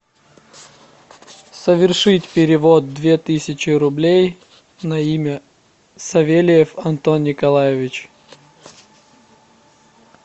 совершить перевод две тысячи рублей на имя савельев антон николаевич